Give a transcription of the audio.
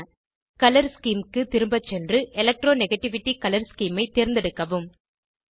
colour scheme க்கு திரும்ப சென்று எலக்ட்ரானிகேட்டிவிட்டி கலர் ஸ்கீம் ஐ தேர்ந்தெடுக்கவும்